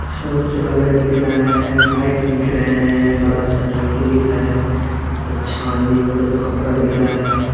शौचालय दिख रहा है पाइप दिख रहें हैं बड़ा सा टंकी दिख रहा है और छावनी मतलब खपरा दिख रहा है।